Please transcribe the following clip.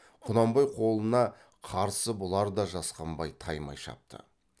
құнанбай қолына қарсы бұлар да жасқанбай таймай шапты